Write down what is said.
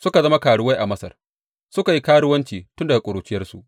Suka zama karuwai a Masar, suka yi karuwanci tun daga ƙuruciyarsu.